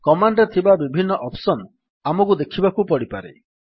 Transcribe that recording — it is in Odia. କମାଣ୍ଡ୍ ରେ ଥିବା ବିଭିନ୍ନ ଅପ୍ସନ୍ ଆମକୁ ଦେଖିବାକୁ ପଡିପାରେ